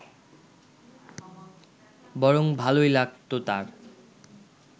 বরং ভালোই লাগত তাঁর